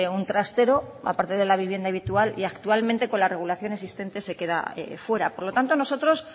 un trastero aparte de la vivienda habitual y actualmente con la regulación existente se queda fuera por lo tanto nosotros